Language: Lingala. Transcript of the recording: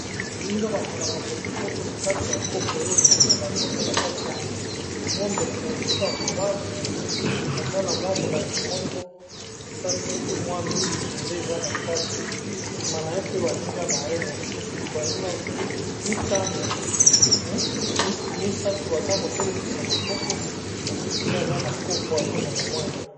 Baninga bamelaka potopoto na kati ya copo oyo ozomela ngo nde na kati ya molangi, po ndeko na biso ya mobali eza na mwa molangi moko esalisaki mwa miliki nde eza na kati, nsima na ye pe baninga na ye mosusu baninga mitano, misato baza kotelemisa maboko mosusu pe aza na kopo azomela mwa eloko.